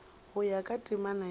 go ya ka temana ya